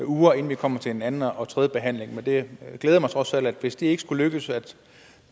uger inden vi kommer til anden og tredje behandling men det glæder mig trods alt at hvis det ikke skulle lykkes